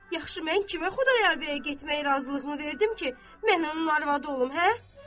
Yaxşı, mən kimə Xudayar bəyə getmək razılığını verdim ki, mən onun arvadı olum, hə?